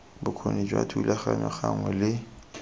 bokgoni jwa thulaganyo gangwe le